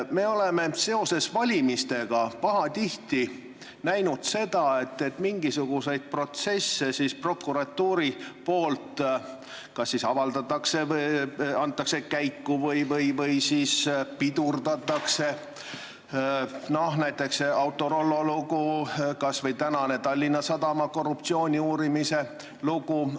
Me oleme seoses valimistega pahatihti näinud, et mingisuguseid protsesse prokuratuur kas siis avaldab, annab neid asju käiku või pidurdab seda, näiteks Autorollo lugu või Tallinna Sadama korruptsiooni uurimise lugu.